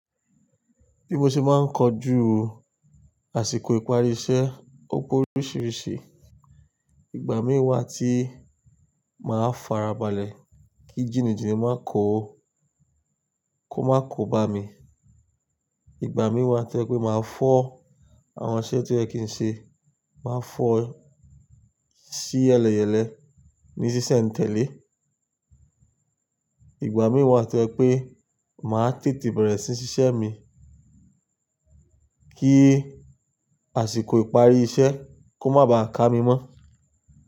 Bí mo ṣe máa ń kọjú àsìkò ìparí iṣẹ́, ó pé oríṣìíríṣìí. Ìgbà mí wà tí màá farabalẹ̀ kí jìnìjìnì má ko, kó má ko bá mi. Ìgbà mí wà tí màá farabalẹ̀ kí jìnìjìnì má ko, kó má ko bá mi. Ìgbà mí wà tó jẹ pé màá tètè bẹ̀rẹ̀ sí ṣíṣe mi kí àsìkò ìparí iṣẹ́ kó má bà a ká mi mọ́